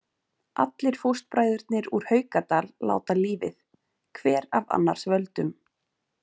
Allir fóstbræðurnir úr Haukadal láta lífið, hver af annars völdum.